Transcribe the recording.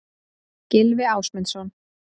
Gylfi Ásmundsson.